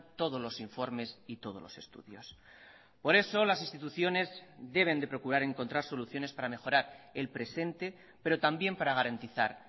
todos los informes y todos los estudios por eso las instituciones deben de procurar encontrar soluciones para mejorar el presente pero también para garantizar